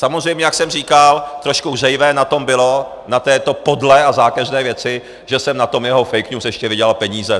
Samozřejmě, jak jsem říkal, trošku hřejivé na tom bylo, na této podlé a zákeřné věci, že jsem na tom jeho fake news ještě vydělal peníze.